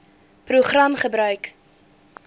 program gebruik